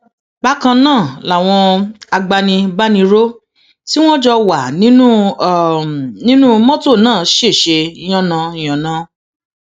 bákan náà làwọn agbanibániró tí wọn jọ wà nínú um nínú mọtò náà ṣẹṣẹ yánnayànna